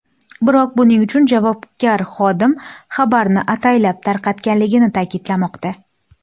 Biroq buning uchun javobgar xodim xabarni ataylab tarqatganligini ta’kidlamoqda.